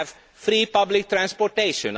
We have free public transportation.